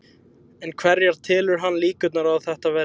En hverjar telur hann líkurnar á að þetta verði?